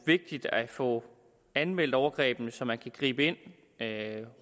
vigtigt at få anmeldt overgrebene så man kan gribe ind